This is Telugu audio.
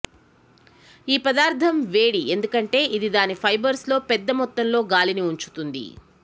ఈ పదార్ధం వేడి ఎందుకంటే ఇది దాని ఫైబర్స్ లో పెద్ద మొత్తంలో గాలిని ఉంచుతుంది